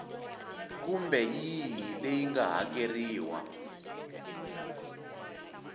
kumbe yihi leyi nga hakeriwa